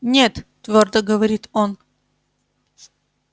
нет твёрдо говорит он